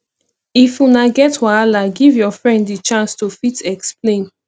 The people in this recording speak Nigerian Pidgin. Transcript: if una get wahala give your friend di chance to fit explain